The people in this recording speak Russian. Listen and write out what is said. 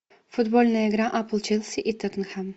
футбольная игра апл челси и тоттенхэм